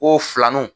Ko filaninw